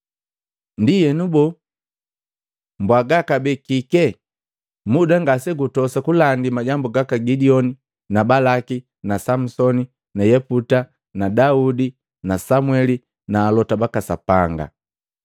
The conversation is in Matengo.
Ndienu boo, mbwaga kabee kike? Muda ngase gutosa kulandi majambu gaka Gidioni na Balaki na Samusoni na Yeputa na Daudi na Samweli na alota baka Sapanga.